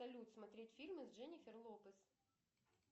салют смотреть фильмы с дженифер лопес